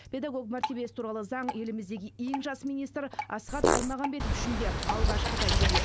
педагог мәртебесі туралы заң еліміздегі ең жас министр асхат аймағамбетов үшін де алғашқы тәжірибе